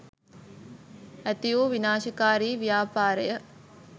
ඇති වූ විනාශකාරී ව්‍යාපාර ය.